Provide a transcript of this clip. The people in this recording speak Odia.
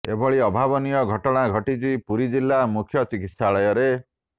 ଏଭଳି ଅଭାବନୀୟ ଘଟଣା ଘଟିଛି ପୁରୀ ଜିଲ୍ଲା ମୁଖ୍ୟ ଚିକିତ୍ସାଳୟରେ